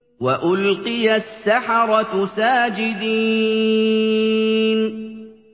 وَأُلْقِيَ السَّحَرَةُ سَاجِدِينَ